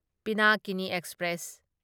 Pinakini express